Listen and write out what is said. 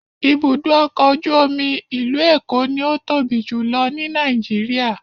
Ibùdó ọkọ̀ ojú omi ìlú Èkó ni ó tóbi jùlọ ní Nàìjíríà.